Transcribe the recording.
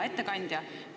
Hea ettekandja!